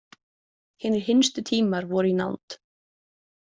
Hinir hinstu tímar voru í nánd.